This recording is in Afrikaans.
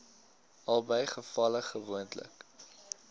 albei gevalle gewoonlik